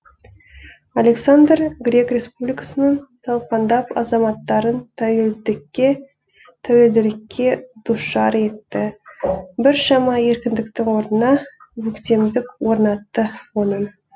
александр грек республикасының талқандап азаматтарын тәуелділікке душар етті біршама еркіндіктің орнына өктемдік орнатты оның